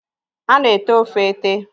a na-ete ofe ete.